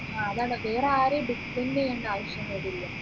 ആ അതാണ് വേറെ ആരെയും depend ചെയ്യേണ്ടേ ആവശ്യം വരില്ല